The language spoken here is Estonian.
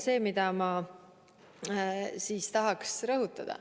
Seda ma tahan rõhutada.